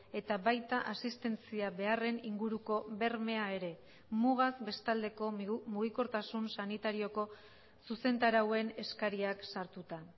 eta baita asistentzia beharren inguruko bermea ere mugaz bestaldeko mugikortasun sanitarioko zuzentarauen eskariak sartuta